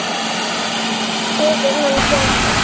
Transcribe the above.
Hér er hann kóngur.